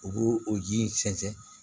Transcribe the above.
U b'o o ji in sɛnsɛn